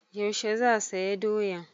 Yaushe za saya doyan?